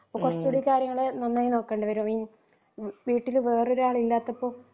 അപ്പൊ കുറച്ചുടി കാര്യങ്ങൾ നന്നായി നോക്കേണ്ടി വരും ഇൻ വീട്ടിലെ വേറൊരാൾ ഇല്ലാത്തപ്പോൾ